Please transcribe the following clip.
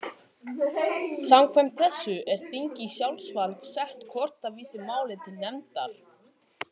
Samkvæmt þessu er þingi í sjálfsvald sett hvort það vísar máli til nefndar.